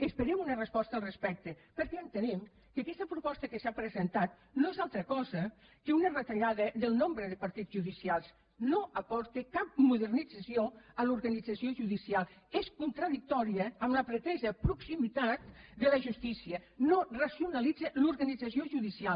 esperem una resposta al respecte perquè entenem que aquesta proposta que s’ha presentat no és altra cosa que una retallada del nombre de partits judicials no aporta cap modernització a l’organització judicial és contradictòria amb la pretesa proximitat de la justícia no racionalitza l’organització judicial